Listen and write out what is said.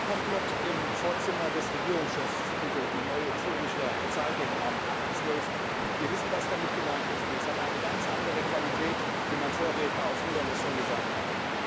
Mordkomplott im Vorzimmer des Regierungschefs titelte die Neue Züricher Zeitung am 8.12. Wir wissen, was damit gemeint ist, und es hat eine ganz andere Qualität, wie mein Vorredner aus Ungarn es schon gesagt hat.